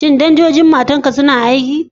Shin danjojin motarka suna aiki?